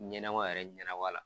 Ɲɛnɛma yɛrɛ ɲɛnɛ wa la